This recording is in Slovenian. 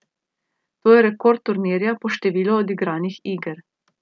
To je rekord turnirja po številu odigranih iger.